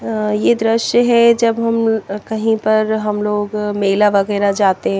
ये द्रश्य है जब हम कही पर हम लोग मेला वगेरा जाते है।